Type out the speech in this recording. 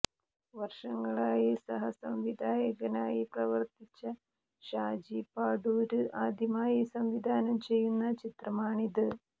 വര്ഷങ്ങളായി സഹസംവിധായകനായി പ്രവര്ത്തിച്ച ഷാജി പാടൂര് ആദ്യമായി സംവിധാനം ചെയ്യുന്ന ചിത്രമാണിത്